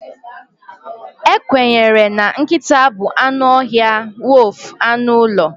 Ekwenyere na nkịta bụ anụ ọhịa wolf anụ ụlọ.